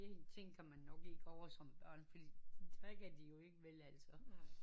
Det en ting man nok ikke kan ovre som børn fordi det drikker de jo ikke vel altså